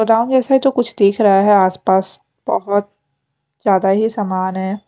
गोदाम जैसा है जो कुछ दिख रहा है आसपास बहुत ज्यादा ही समान है।